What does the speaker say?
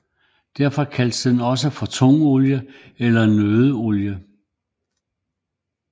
Derfor kaldes den også for tungolie eller nøddeolie